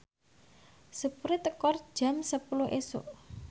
sepure teka jam sepuluh isuk